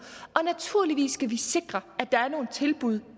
og naturligvis skal vi sikre at der er nogle tilbud